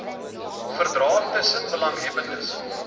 verdrae tussen belanghebbendes